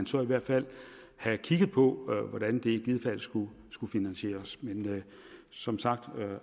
så i hvert fald have kigget på hvordan det i givet fald skulle skulle finansieres men som sagt